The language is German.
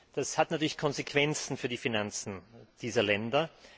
Das hat natürlich Konsequenzen für die Finanzen dieser Länder.